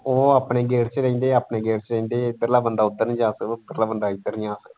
ਉਹ ਆਪਣੇ gate ਚ ਰਹਿੰਦੇ ਹੈ ਇਹ ਆਪਣੇ gate ਚ ਰਹਿੰਦੇ ਹੈ ਇੱਧਰਲਾ ਬੰਦਾ ਉਧੱਰ ਨਹੀਂ ਜਾ ਸਕਦਾ ਉੱਧਰਲਾ ਬੰਦਾ ਇੱਧਰ ਨਹੀਂ ਆ ਸਕਦਾ।